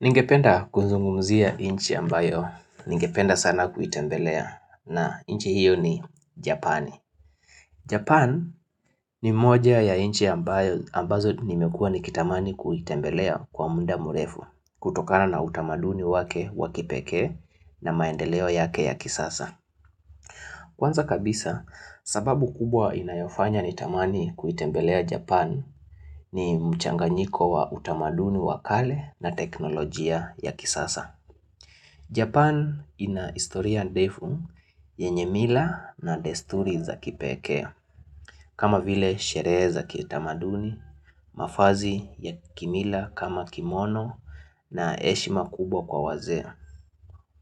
Ningependa kuzungumzia inchi ambayo, ningependa sana kuitembelea na inchi hiyo ni Japani. Japan ni moja ya inchi ambayo ambazo nimekuwa nikitamani kuitembelea kwa muda mrefu kutokana na utamaduni wake wa kipekee na maendeleo yake ya kisasa. Kwanza kabisa sababu kubwa inayofanya nitamani kuitembelea Japan ni mchanganyiko wa utamaduni wa kale na teknolojia ya kisasa. Japan ina historia ndefu yenye mila na desturi za kipee kama vile sherehe za kitamaduni, mavazi ya kimila kama kimono na heshima kubwa kwa wazea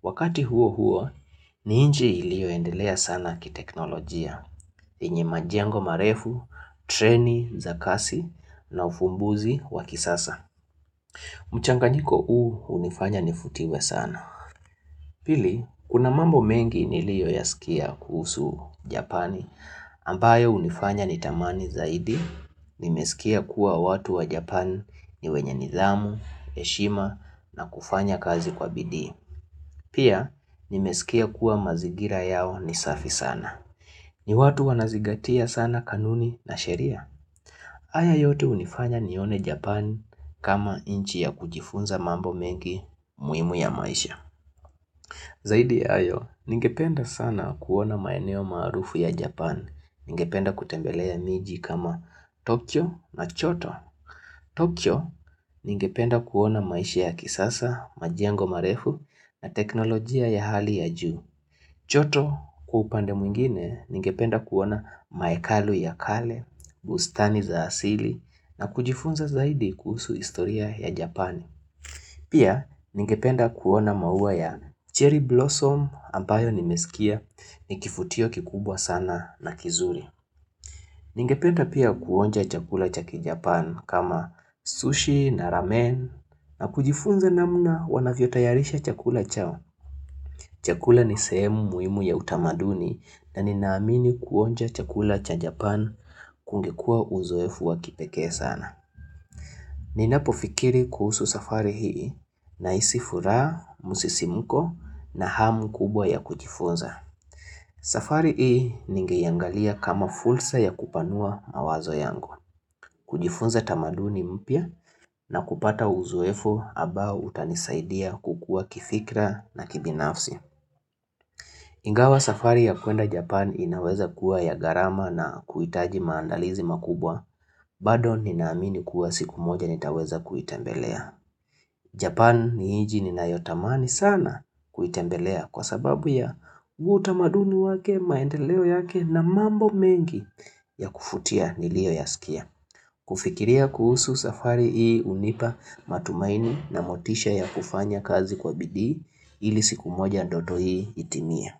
Wakati huo huo, ni inji ilioendelea sana kiteknolojia. Yenye majengo marefu, treni za kasi na ufumbuzi wa kisasa mchanganyiko huu unifanya nifutiwe sana Pili, kuna mambo mengi niliyo ya sikia kuhusu japani ambayo unifanya nitamani zaidi, nimesikia kuwa watu wa japani ni wenye nidhamu, heshima na kufanya kazi kwa bidi. Pia, nimesikia kuwa mazigira ya ni safi sana. Ni watu wanazingatia sana kanuni na sheria. Haya yote unifanya nione Japan kama inchi ya kujifunza mambo mengi muhimu ya maisha. Zaidi ya hayo, ningependa sana kuona maeneo maarufu ya Japan. Ningependa kutembelea miji kama Tokyo na Choto. Tokyo ningependa kuona maisha ya kisasa, majengo marefu na teknolojia ya hali ya juu. Choto kwa upande mwingine ningependa kuona maekalu ya kale, bustani za asili na kujifunza zaidi kuhusu historia ya Japani. Pia ningependa kuona maua ya cherry blossom ambayo nimesikia ni kifutio kikubwa sana na kizuri. Ningependa pia kuonja chakula cha kiJapan kama sushi na ramen na kujifunza namna wanavyo tayarisha chakula chao. Chakula ni sehemu muhimu ya utamaduni na ninaamini kuonja chakula cha Japan kungekuwa uzoefu wa kipekee sana. Ninapo fikiri kuhusu safari hii nahisi furaha, musisimuko na hamu kubwa ya kujifunza. Safari hii ningeiangalia kama fursa ya kupanua mawazo yangu. Kujifunza tamaduni mpya, na kupata uzoefu abao utanisaidia kukua kifikra na kibinafsi. Ingawa safari ya kuenda Japan inaweza kuwa ya gharama na kuitaji maandalizi makubwa, bado ninaamini kuwa siku moja nitaweza kuitembelea. Japan ni inchi ninayotamani sana kuitembelea kwa sababu ya utamaduni wake, maendeleo yake na mambo mengi ya kufutia nilio yasikia. Kufikiria kuhusu safari hii unipa matumaini na motisha ya kufanya kazi kwa bidii ili siku moja ndoto hii itimie.